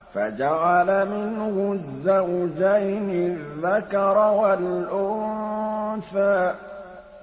فَجَعَلَ مِنْهُ الزَّوْجَيْنِ الذَّكَرَ وَالْأُنثَىٰ